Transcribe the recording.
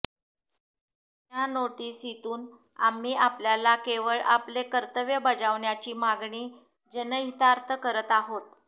या नोटिसीतून आम्ही आपल्याला केवळ आपले कर्तव्य बजावण्याची मागणी जनहितार्थ करत आहोत